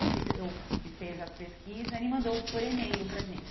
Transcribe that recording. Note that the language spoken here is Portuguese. Esse que fez a pesquisa, ele mandou por e-mail para a gente.